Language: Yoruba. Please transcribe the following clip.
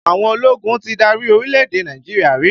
Àwọn ológun ti dárí orílẹ̀-èdè Nàìjíríà rí